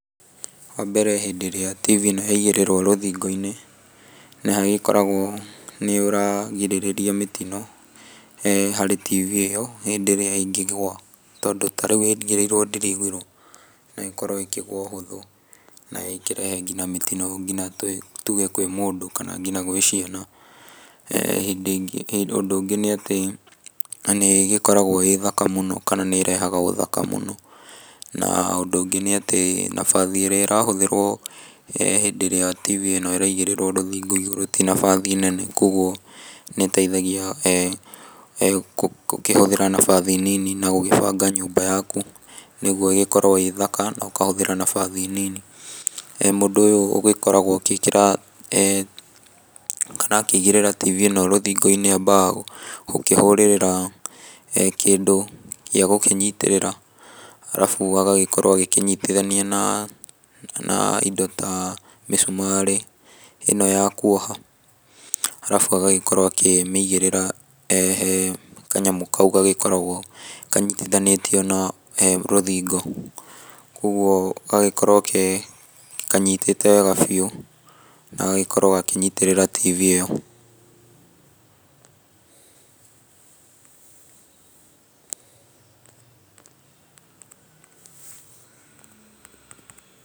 Wambere hĩndĩ ĩrĩa TV ĩno yaigĩrĩrwo rũthingo-inĩ nĩ hagĩkoragwo nĩ ũragirĩrĩria mĩtino harĩ TV ĩyo hĩndĩ ĩrĩa ĩngĩgũa. Tondũ ta rĩu ĩigĩrĩirwo ndiro igũrũ no ĩkorwo ĩkĩgũa ũhũthũ na ĩkĩrehe nginya mĩtino tuge kwĩ mũndũ na nginya gwĩ ciana. Hĩndĩ ingĩ ũndũ ũngĩ nĩ atĩ nĩ ĩgĩkoragwo ĩĩ thaka mũno kana nĩ ĩrehaga ũthakaũ múno. Na ũndũ ũngĩ nĩ atĩ nafasi ĩrĩa ĩrahũthĩrwo hĩndĩ ĩrĩa TV ĩno ĩraigĩrĩrwo rũthingo igũrũ ti nafasi nene kwoguo nĩ ĩteithagia na gũkĩhũthĩra na nafasi nini ũgĩbanga nyũmba yaku nĩguo ĩgĩkorwo ĩĩ thaka na ũkahũthĩra nafasi nini. Mũndũ ũyũ ũgĩkoragwo agĩĩkĩra kana akĩigĩrĩra TV ĩyo rũthingo-inĩ ambaga gũkĩhũrĩrĩra kĩndũ rũthingo-inĩ gĩagũkĩnyitĩrĩra arabu agagagĩkorwo agĩkĩnyitithania na indo ta mĩcumarĩ ĩno ya kuoha. Arabu agagĩkorwo akĩmĩigĩrĩra he kanyamũ kau gagĩkoragwo kanyitithanĩtio na rũthingo. Koguo gagagĩkorwo kanyitĩte wega biũ na gagagĩkorwo gakĩnyitĩrĩra TV ĩyo.